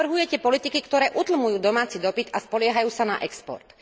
Navrhujete politiky, ktoré utlmujú domáci dopyt a spoliehajú sa na export.